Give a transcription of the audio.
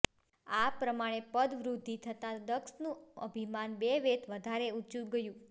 આ પ્રમાણે પદવૃદ્ધિ થતા દક્ષનું અભિમાન બે વેંત વધારે ઊંચું ગયું